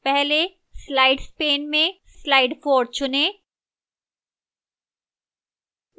पहले slides pane से slide 4 चुनें